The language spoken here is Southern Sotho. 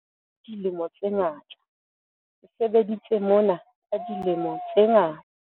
ke sebeditse mona ka dilemo tse ngata.